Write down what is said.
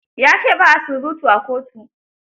Ya ce ba a surutu a kotu.